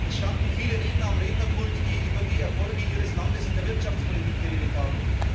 Es standen viele Redner am Rednerpult, die über die Erfolge ihres Landes in der Wirtschaftspolitik geredet haben.